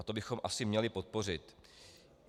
A to bychom asi měli podpořit.